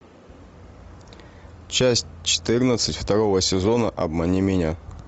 часть четырнадцать второго сезона обмани меня